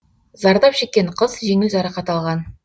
зардап шеккен қыз жеңіл жарақат алған